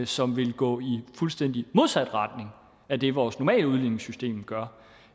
som ville gå i fuldstændig modsat retning af det vores normale udligningssystem gør